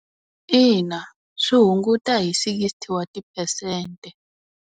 Ina, swi hunguta hi sixty wa ti-percent.